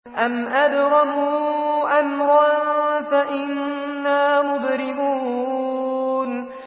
أَمْ أَبْرَمُوا أَمْرًا فَإِنَّا مُبْرِمُونَ